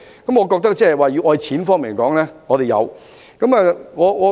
我覺得在資金方面，我們是有的。